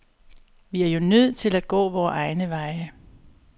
Vi er jo nødt til at gå vore egne veje.